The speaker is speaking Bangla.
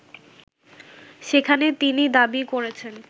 সেখানে তিনি দাবি করেছেন